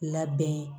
Labɛn